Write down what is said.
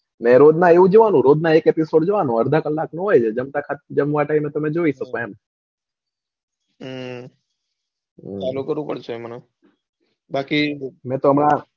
ને રોજ ના એવું જ જોવાનું એક episode જોવાનો અડધા કલાક નો હોય છે જમતા time પર તમે જોઈ શકો એમ હમ પડશે મને બાકી મેં તો હમણાં,